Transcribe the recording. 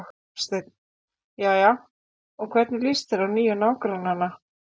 Hafsteinn: Jæja, og hvernig líst þér á nýju nágrannana?